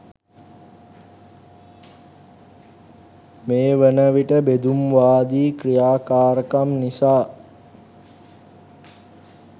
මේ වනවිට බෙදුම්වාදී ක්‍රියාකාරකම් නිසා